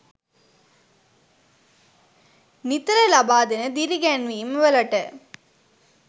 නිතර ලබා දෙන දිරිගැන්වීම් වලට.